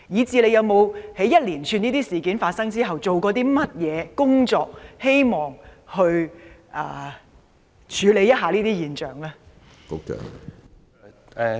在這一連串事件發生後，局方做了甚麼工作處理這些現象？